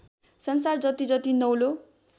संसार जतिजति नौलो